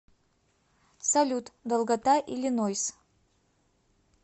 салют долгота иллинойс